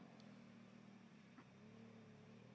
Besta markið?